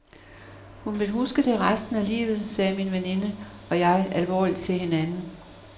Hun vil huske det resten af livet, sagde min veninde og jeg alvorligt til hinanden.